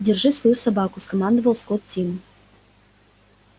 держи свою собаку скомандовал скотт тиму